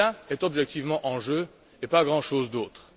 C'est cela qui est objectivement en jeu, et pas grand chose d'autre.